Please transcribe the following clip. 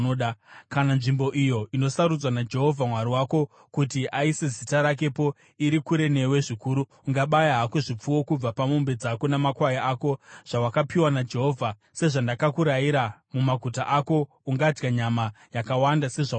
Kana nzvimbo iyo inosarudzwa naJehovha Mwari wako kuti aise Zita rakepo iri kure newe zvikuru, ungabaya hako zvipfuwo kubva pamombe dzako namakwai ako zvawakapiwa naJehovha, sezvandakurayira, mumaguta ako ungadya nyama yakawanda sezvaunoda.